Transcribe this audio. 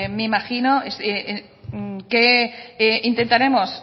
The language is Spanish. me imagino que intentaremos